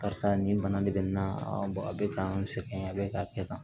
Karisa nin bana de bɛ n na a bɛ ka n sɛgɛn a bɛ ka kɛ tan